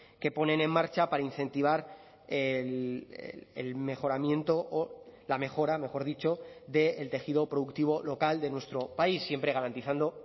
que ponen en marcha para incentivar el mejoramiento o la mejora mejor dicho del tejido productivo local de nuestro país siempre garantizando